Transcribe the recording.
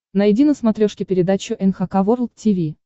найди на смотрешке передачу эн эйч кей волд ти ви